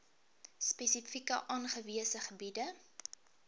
spesifiek aangewese gebiede